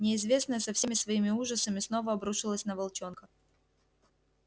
неизвестное со всеми своими ужасами снова обрушилось на волчонка